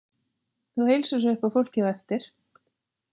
Þú heilsar svo upp á fólkið á eftir.